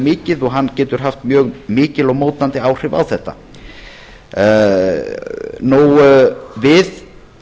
mikið og hann getur haft mjög mikil og mótandi áhrif á þetta við